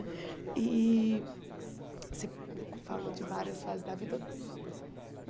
E você falou de várias fases da vida.